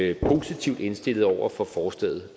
er positivt indstillede over for forslaget